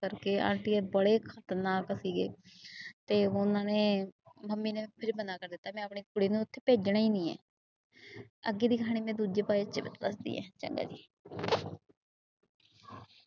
ਕਰਕੇ ਆਂਟੀ ਬੜੇ ਖਤਰਨਾਕ ਸੀਗੇ ਤੇ ਉਹਨਾਂ ਨੇ ਮੰਮੀ ਨੇ ਫਿਰ ਮਨਾ ਕਰ ਦਿੱਤਾ, ਮੈਂ ਆਪਣੇ ਕੁੜੀ ਨੂੰ ਉੱਥੇ ਭੇਜਣਾ ਹੀ ਨੀ ਹੈ ਅੱਗੇ ਦੀ ਕਹਾਣੀ ਮੈਂ ਦੂਜੇ ਚ ਦੱਸਦੀ ਹੈ, ਚੰਗਾ ਜੀ।